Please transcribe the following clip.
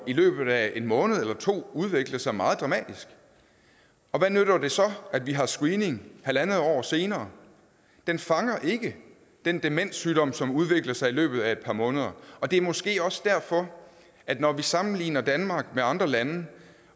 i løbet af en måned eller to udvikle sig meget dramatisk og hvad nytter det så at vi har screening halvandet år senere den fanger ikke den demenssygdom som udvikler sig i løbet af et par måneder og det er måske også derfor at når vi sammenligner danmark med andre lande